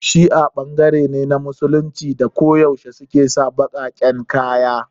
Shi'a ɓangare ne na Musulunci da ki yaushe suke sa baƙaƙen kaya